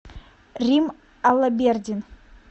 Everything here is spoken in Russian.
рим алабердин